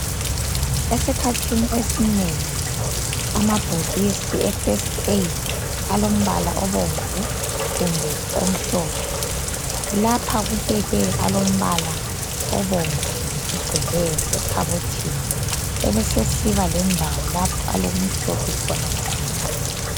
Esikhathini esinengi amabhokisi e festi eyidi alombala obomvu kumbe omhlophe lapha kubekwe alombala obomvu ngokugcweleyo ekhabothini ebesesiba lendawo lapho alokumhlophe kancinyane